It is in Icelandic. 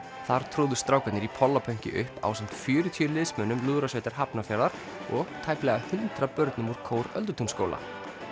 þar tróðu strákarnir í upp ásamt fjörutíu liðsmönnum lúðrasveitar Hafnarfjarðar og tæplega hundrað börnum úr kór Öldutúnsskóla